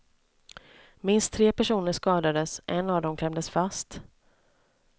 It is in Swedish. Minst tre personer skadades, en av dem klämdes fast.